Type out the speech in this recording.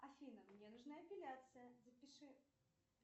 афина мне нужна эпиляция запиши